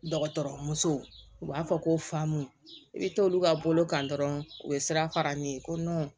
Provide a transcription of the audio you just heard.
Dɔgɔtɔrɔmuso u b'a fɔ ko faamun i bɛ t'olu ka bolo kan dɔrɔn u bɛ sira fara ne ye ko